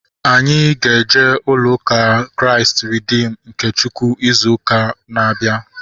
Anyị ga-eje ulo ụka Kraịst Reedim nke Chukwu izu ụka na-abịa